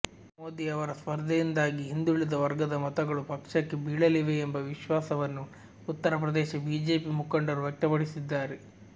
ಮೋದಿ ಅವರ ಸ್ಪರ್ಧೆಯಿಂದಾಗಿ ಹಿಂದುಳಿದ ವರ್ಗದ ಮತಗಳು ಪಕ್ಷಕ್ಕೆ ಬೀಳಲಿವೆ ಎಂಬ ವಿಶ್ವಾಸವನ್ನು ಉತ್ತರ ಪ್ರದೇಶ ಬಿಜೆಪಿ ಮುಖಂಡರು ವ್ಯಕ್ತಪಡಿಸಿದ್ದಾರೆ